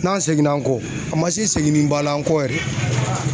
N'an seginna an kɔ a man se seginniba la an kɔ yɛrɛ.